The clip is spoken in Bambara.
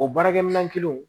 O baarakɛminɛn kelen